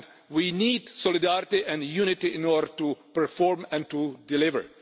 We need solidarity and unity in order to perform and to deliver.